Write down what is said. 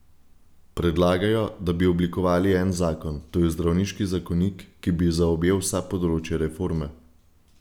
Predlagajo, da bi oblikovali en zakon, to je zdravniški zakonik, ki bi zaobjel vsa področja reforme.